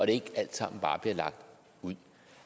det ikke alt sammen bare bliver lagt ud